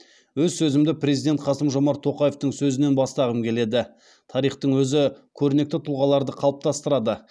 өз сөзімді президент қасым жомарт тоқаевтың сөзінен бастағым келеді тарихтың өзі көрнекті тұлғаларды қалыптастырады